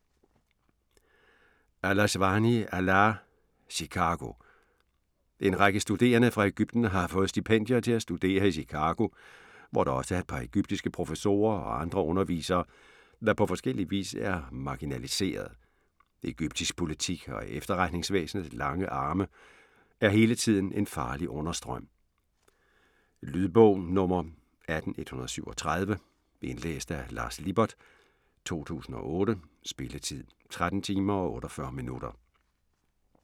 Al Aswany, Alaa: Chicago En række studerende fra Egypten har fået stipendier til at studere i Chicago, hvor der også er et par egyptiske professorer og andre undervisere, der på forskellig vis er marginaliserede. Egyptisk politik og efterretningsvæsenets lange arme er hele tiden en farlig understrøm. Lydbog 18137 Indlæst af Lars Lippert, 2008. Spilletid: 13 timer, 48 minutter.